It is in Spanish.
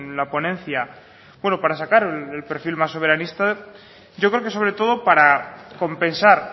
la ponencia bueno para sacar el perfil más soberanista yo creo que sobre todo para compensar